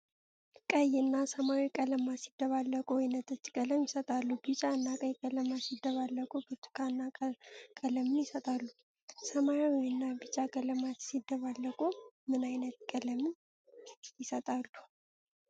ቀይ እና ሰማያዊ ቀለማት ሲደባለቁ ወይነጠጅ ቀለም ይሰጣሉ። ቢጫ እና ቀይ ቀለማት ሲደባለቁ ብርቱካናማ ቀለምን ይሰጣሉ። ሰማያዊ እና ቢጫ ቀለማት ሲደሳለቁ ምን አይነት ቀለምን ይሰጡናል?